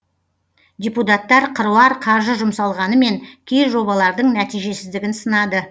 депутаттар қыруар қаржы жұмсалғанымен кей жобалардың нәтижесіздігін сынады